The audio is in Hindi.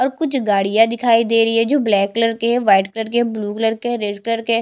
और कुछ गाड़ियां दिखाई दे रही है ब्लैक कलर के है वाइट कलर के है ब्लू कलर के है रेड कलर के है।